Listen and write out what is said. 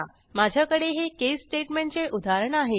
माझ्याकडे हे केस स्टेटमेंटचे उदाहरण आहे